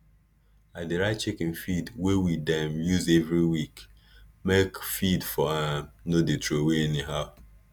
i dey write chicken feed wey we dem use everi week make feed for um no dey throway anyhow